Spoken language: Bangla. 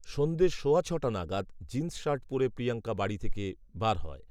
সন্ধে সওয়া ছটা নাগাদ, জিন্সশার্ট পরে প্রিয়াঙ্কা বাড়ি থেকে বার হয়